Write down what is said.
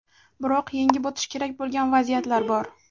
Biroq yengib o‘tish kerak bo‘lgan vaziyatlar bor.